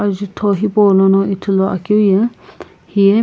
azutho hipou lono ithulu akeu ye hiye.